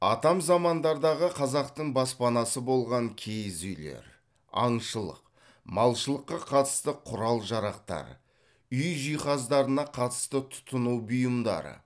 атам замандардағы қазақтың баспанасы болған киіз үйлер аңшылық малшылыққа қатысты құрал жарақтар үй жиһаздарына қатысты тұтыну бұйымдары